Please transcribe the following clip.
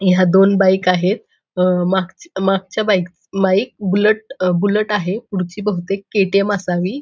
ह्या दोन बाईक आहेत अ माग मागच्या बाईक बाईक बुलट बुलट आहे पुढची बहुतेक के.टी.एम. असावी.